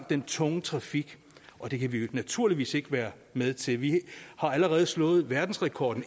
den tunge trafik og det kan vi naturligvis ikke være med til vi har allerede slået verdensrekorden